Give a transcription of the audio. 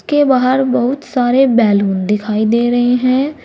के बाहर बहुत सारे बैलून दिखाई दे रहे हैं।